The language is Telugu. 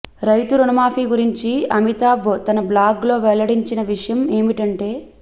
రైతు రుణమాఫీ గురించి అమితాబ్ తన బ్లాగ్లో వెల్లడించిన విషయం ఏమింటంటే